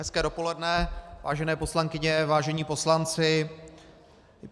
Hezké dopoledne, vážené poslankyně, vážení poslanci.